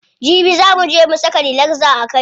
Jibi zaa muje mu saka relaxer a kai.